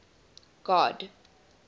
god